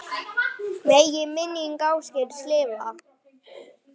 Megi minning Ásgeirs lifa.